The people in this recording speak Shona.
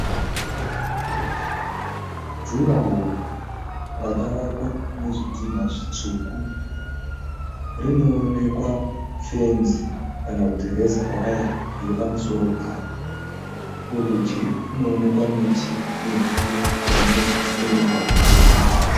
Juraho rakavakwa nezvidhina zvitsvuku, rinoonekwa fenzi kana kuti reza waya iri pamusoro payo. Kurudyi kunoonekwa miti mihombe iri muzasi memugwagwa wetara.